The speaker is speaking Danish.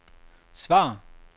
svar